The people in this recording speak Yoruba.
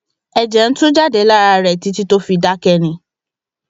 ẹjẹ ń tú jáde lára rẹ títí tó fi dákẹ ni